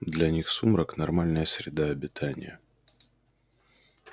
для них сумрак нормальная среда обитания